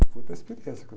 Foi outra experiência.